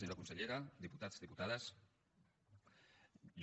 senyora consellera diputats diputades jo